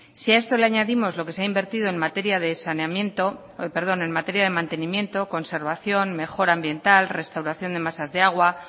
si a esto le añadimos lo que se ha invertido en materia de mantenimiento conservación mejora ambiental restauración de masas de agua